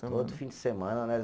Todo fim de semana, né?